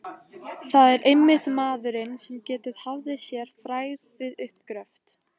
Það var einmitt maðurinn, sem getið hafði sér frægð við uppgröft